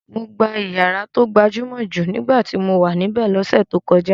Mo gbà ìyàrá tó gbajúmọ̀ jù nígbà tí mo wà níbẹ̀ lọ́sẹ̀ tó kọjá.